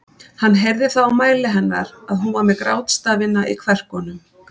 Hann heyrði það á mæli hennar að hún var með grátstafina í kverkunum.